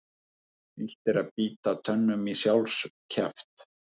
Illt er að bíta tönnum í sjálfs kjaft.